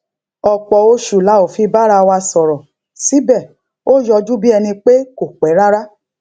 ọpọ oṣù la ò fi bára wa sòrò síbè ó yọjú bí ẹni pé kò pé rárá